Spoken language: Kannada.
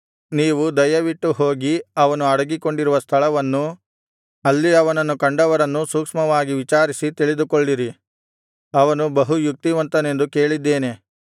ನೀವು ದಯವಿಟ್ಟು ಹೋಗಿ ಅವನು ಅಡಗಿಕೊಂಡಿರುವ ಸ್ಥಳವನ್ನು ಅಲ್ಲಿ ಅವನನ್ನು ಕಂಡವರನ್ನೂ ಸೂಕ್ಷ್ಮವಾಗಿ ವಿಚಾರಿಸಿ ತಿಳಿದುಕೊಳ್ಳಿರಿ ಅವನು ಬಹು ಯುಕ್ತಿವಂತನೆಂದು ಕೇಳಿದ್ದೇನೆ